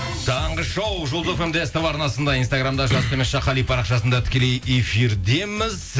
таңғы шоу жұлдыз фм де ств арнасында инстаграмда жас қали парақшасында тікелей эфирдеміз